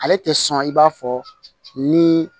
Ale tɛ sɔn i b'a fɔ ni